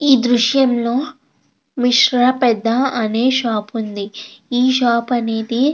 ఈ దృశ్యంలో విశ్వపెద్ద అనే షాపు ఉంది. ఈ షాప్ అనేది --